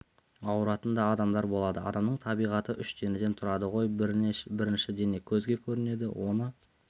ауыратын да адамдар болады адамның табиғаты үш денеден тұрады ғой бірінші дене көзге көрінеді оны